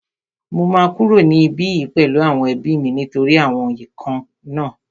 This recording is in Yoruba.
Mo máa kúrò ní ibí yìí pẹ̀lú àwọn ẹbí mi nítorí àwọn ikán náà